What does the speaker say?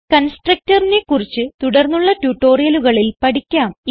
constructorനെ കുറിച്ച് തുടർന്നുള്ള ട്യൂട്ടോറിയലുകളിൽ പഠിക്കാം